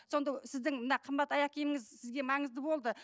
сонда сіздің мына қымбат аяқ киіміңіз сізге маңызды болды